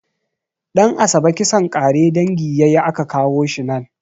Ɗan'asabe kisan ƙare dangi yayi a ka kawo shi nan